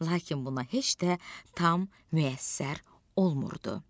Lakin buna heç də tam müyəssər olmurdu.